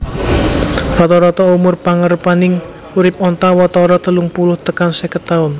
Rata rata umur pangarepaning urip onta watara telung puluh tekan seket taun